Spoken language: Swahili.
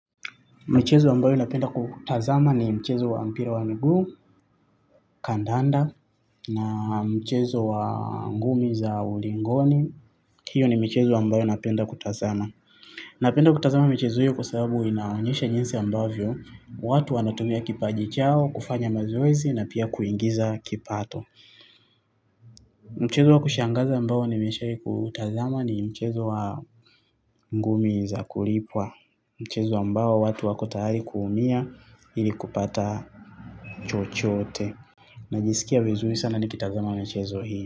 Michezo ambayo napenda kutazama ni michezo wa mpira wa miguu, kandanda, na michezo wa ngumi za ulingoni. Hiyo ni michezo ambayo napenda kutazama. Napenda kutazama michezo hiyo kwa sabu inaonyesha jinsi ambavyo. Watu wanatumia kipaji chao, kufanya mazoezi na pia kuingiza kipato. Mchezo wa kushangaza ambao nimeshai kuutazama ni michezo wa ngumi za kulipwa. Mchezo ambao watu wako tayari kuumia ili kupata chochoote. Najisikia vizuri sana nikitazama mchezo hii.